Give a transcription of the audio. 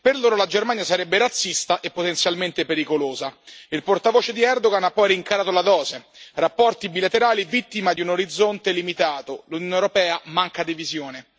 Per loro la Germania sarebbe razzista e potenzialmente pericolosa. Il portavoce di Erdogan ha poi rincarato la dose rapporti bilaterali vittima di un orizzonte limitato, l'Unione europea manca di visione.